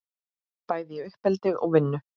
Bæði í uppeldi og vinnu.